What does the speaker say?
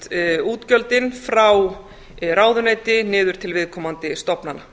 flytjast útgjöldin frá ráðuneyti niður til viðkomandi stofnana